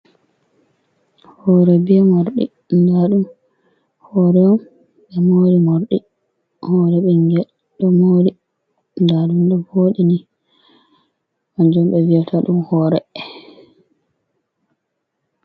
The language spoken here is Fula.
Hore be mordi, dadum horeym be mori mordi hore bingel ɗo mori dadum ɗo vodini wanjom be vi’ata dum horee.